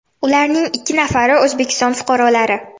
Ularning ikki nafari O‘zbekiston fuqarolari .